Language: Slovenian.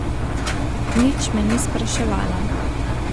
Nič me ni spraševala.